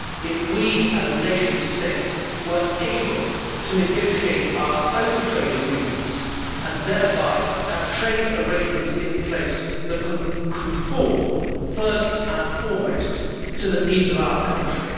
if we, as a nation state, were able to negotiate our own trade agreements and thereby have trade arrangements in place that can conform, first and foremost, to the needs of our country.